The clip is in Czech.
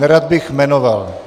Nerad bych jmenoval.